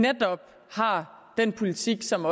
netop har den politik som